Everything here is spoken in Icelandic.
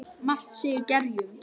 Margt sé í gerjum.